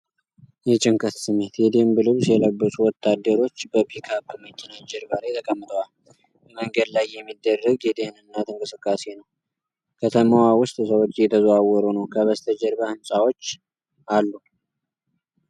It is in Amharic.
የጭንቀት ስሜት! የደንብ ልብስ የለበሱ ወታደሮች በፒክ አፕ መኪና ጀርባ ላይ ተቀምጠዋል ። በመንገድ ላይ የሚደረግ የደህንነት እንቅስቃሴ ነው ። ከተማዋ ውስጥ ሰዎች እየተዘዋወሩ ነው። ከበስተጀርባ ሕንፃዎች አሉ።